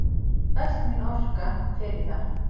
Öll mín orka fer í það.